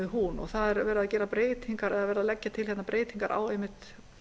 hún það er verið að leggja til breytingar á einmitt